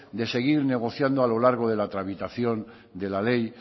de seguir negociando a lo largo de la tramitación de la ley